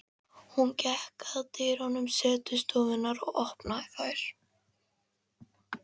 Hún gekk að dyrum setustofunnar og opnaði þær.